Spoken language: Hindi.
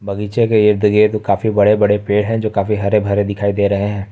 बगीचे के इर्द गिर्द काफी बड़े बड़े पेड़ है जो काफी हरे भरे दिखाई दे रहे हैं।